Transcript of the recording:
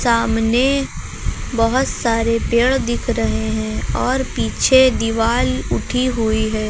सामने बहुत सारे पेड़ दिख रहे हैं और पीछे दीवाल उठी हुई है।